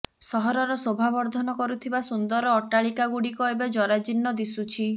ସହରର ଶୋଭାବର୍ଦ୍ଧନ କରୁଥିବା ସୁନ୍ଦର ଅଟାଳିକାଗୁଡ଼ିକ ଏବେ ଜରାଜୀର୍ଣ୍ଣ ଦିଶୁଛି